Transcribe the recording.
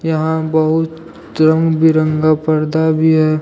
यहां बहुत रंग बिरंगा पर्दा भी है।